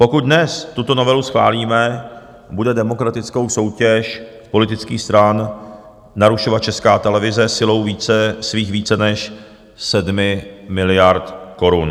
Pokud dnes tuto novelu schválíme, bude demokratickou soutěž politických stran narušovat Česká televize silou svých více než sedmi miliard korun.